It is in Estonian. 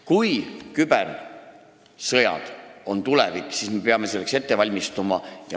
Kui kübersõjad on tulevik, siis me peame selleks valmistuma.